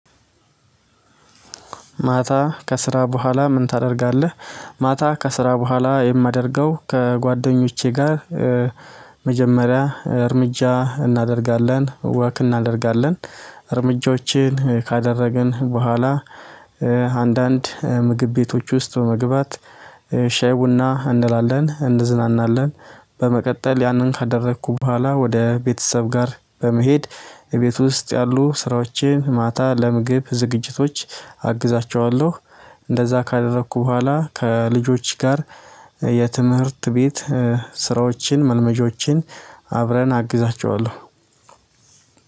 ማታ ከስራ በኋላ ምን ታደርጋለህ? ማታ ከስራ በኋላ የማደርገው ከጓደኞቼ ጋር። መጀመሪያ እርምጃ እናደርጋለን ወክ እናደርጋለን እርምጃዎችን ካደረግን በኋላ። አንዳንድ ምግብ ቤቶች ውስጥ በመግባት ሻይ ቡና እንላለን እንዝናናለን። በመቀጠል ያንን ካደረኩ በኋላ ወደ ቤተሰብ ጋር በመሄድ። የቤት ውስጥ ያሉ ስራዎችን ማታ ለምግብ ዝግጅቶች አግዛቸኋለሁ። እንደዛ ካደረኩ በኋላ ከልጆች ጋር የትምህርት ቤት ስራዎችን መልመጃዎችን አብረን አግዛቸዋለሁ።